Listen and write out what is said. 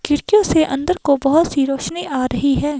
खिड़कियों से अंदर को बहुत सी रोशनी आ रही है।